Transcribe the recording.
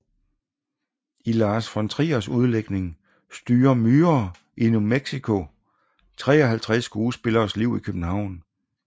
I Lars von Triers udlægning styrer myrer i New Mexico 53 skuespilleres liv i København